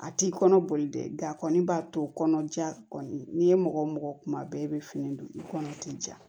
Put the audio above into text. A t'i kɔnɔ boli dɛ nga a kɔni b'a to kɔnɔja kɔni n'i ye mɔgɔ mɔgɔ kuma bɛɛ i bɛ fini don i kɔnɔ t'i ja